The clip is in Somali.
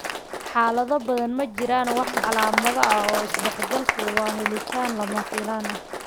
Xaalado badan, ma jiraan wax calaamado ah oo isdhexgalku waa helitaan lama filaan ah.